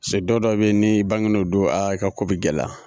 Cɛ don dɔ bɛ ni bangelen o don, a i ka ko bɛ gɛlɛya.